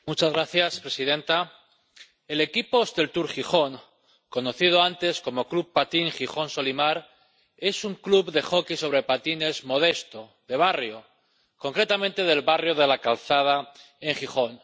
Señora presidenta, el equipo Hostelcur Gijón, conocido antes como Club Patín Gijón Solimar, es un club de hockey sobre patines modesto, de barrio —concretamente del barrio de La Calzada en Gijón—